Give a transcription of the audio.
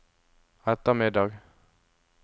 ettermiddag